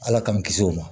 Ala k'an kisi o ma